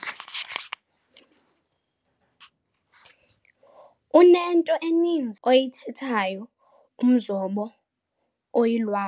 Unento eninzi oyithethayo umzobo oyilwabo.